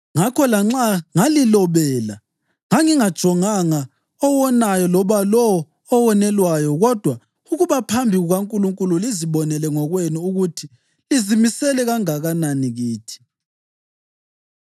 Ngakho lanxa ngalilobela, ngangingajonganga owonayo loba lowo owonelwayo kodwa ukuba phambi kukaNkulunkulu lizibonele ngokwenu ukuthi lizimisele kangakanani kithi.